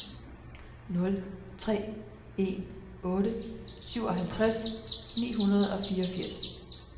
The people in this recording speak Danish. nul tre en otte syvoghalvtreds ni hundrede og fireogfirs